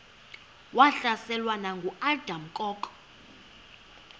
wahlaselwa nanguadam kok